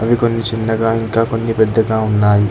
అవి కొన్ని చిన్నగా ఇంకా కొన్ని పెద్దగా ఉన్నాయి.